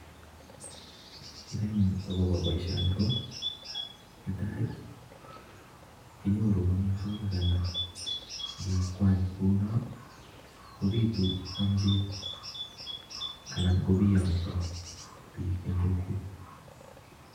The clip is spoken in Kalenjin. Kerenyun akobo boishoni ko netai kinyoru amitwokik anan kekwany kounon kobitu amchin anan kobiyong'so biik en kokwet.